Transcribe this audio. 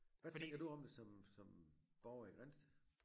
Hvad tænker ud om det som som borger i Grindsted?